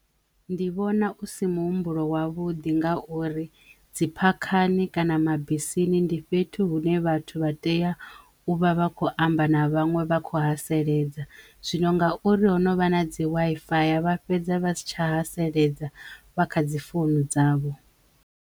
Ndi vhona u si muhumbulo wavhuḓi ngauri dzi phakhani kana mabisini ndi fhethu hune vhathu vha tea u vha vha kho amba na vhaṅwe vha kho haseledza, zwino ngauri ho novha na dzi waifaya vha fhedza vha si tsha haseledza vha kha dzi founu dzavho.